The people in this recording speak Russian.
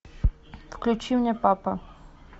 включи мне папа